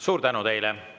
Suur tänu teile!